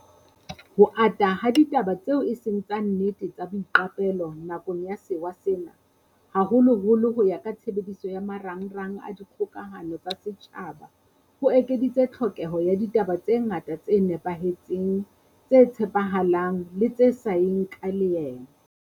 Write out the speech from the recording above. Ho ata ha ditaba tseo eseng tsa nnete tsa boiqapelo nakong ya sewa sena, haholoholo ho ya ka tshebediso ya ma rangrang a dikgokahano tsa setjhaba, ho ekeditse tlhokeho ya ditaba tse ngata tse nepahetseng, tse tshepa halang le tse sa yeng ka leeme.